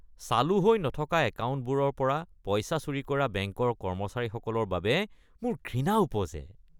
চালু হৈ নথকা একাউণ্টবোৰৰ পৰা পইচা চুৰি কৰা বেংকৰ কৰ্মচাৰীসকলৰ বাবে মোৰ ঘৃণা উপজে।